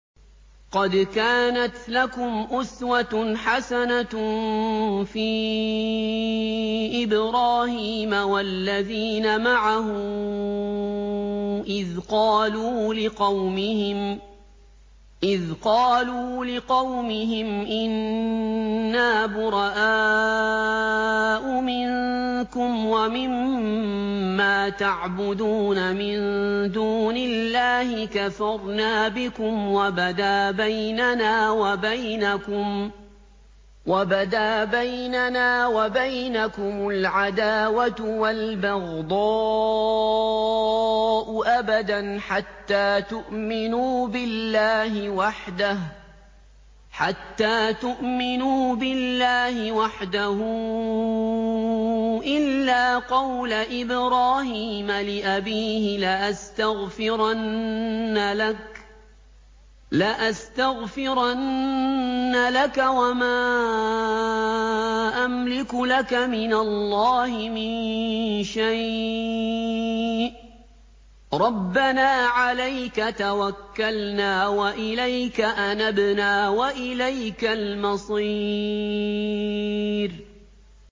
قَدْ كَانَتْ لَكُمْ أُسْوَةٌ حَسَنَةٌ فِي إِبْرَاهِيمَ وَالَّذِينَ مَعَهُ إِذْ قَالُوا لِقَوْمِهِمْ إِنَّا بُرَآءُ مِنكُمْ وَمِمَّا تَعْبُدُونَ مِن دُونِ اللَّهِ كَفَرْنَا بِكُمْ وَبَدَا بَيْنَنَا وَبَيْنَكُمُ الْعَدَاوَةُ وَالْبَغْضَاءُ أَبَدًا حَتَّىٰ تُؤْمِنُوا بِاللَّهِ وَحْدَهُ إِلَّا قَوْلَ إِبْرَاهِيمَ لِأَبِيهِ لَأَسْتَغْفِرَنَّ لَكَ وَمَا أَمْلِكُ لَكَ مِنَ اللَّهِ مِن شَيْءٍ ۖ رَّبَّنَا عَلَيْكَ تَوَكَّلْنَا وَإِلَيْكَ أَنَبْنَا وَإِلَيْكَ الْمَصِيرُ